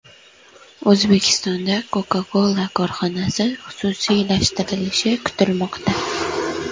O‘zbekistonda Coca-Cola korxonasi xususiylashtirilishi kutilmoqda.